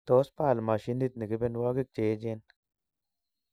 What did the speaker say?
Tos Baal mashinit ni kebenwogik cheechen